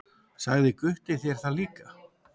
Sagði Gutti þér það líka?